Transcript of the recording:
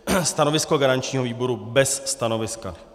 Stanovisko garančního výboru - bez stanoviska.